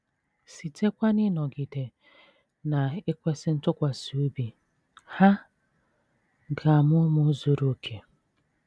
Sitekwa n’ịnọgide na - ekwesị ntụkwasị obi, ha ga - amụ ụmụ zuru okè.